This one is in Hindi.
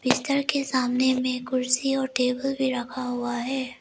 बिस्तर के सामने में कुर्सी और टेबल भी रखा हुआ है।